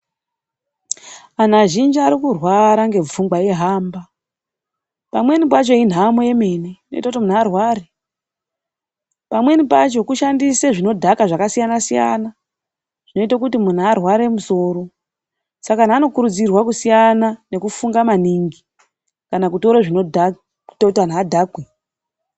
Anhu azhinji ari kurwara ngepfungwa eihamba. Pamweni pacho inhamo yemene, inoite kuti munhu arware. Pamweni pacho kushandise zvinodhaka zvakasiyana siyana, zvinoite kuti munhu arware musoro. Saka anhu anokurudzirwa kusiyana nekufunga maningi, kana kutore zvinodhaka zvinoite kuti anhu adhakwe.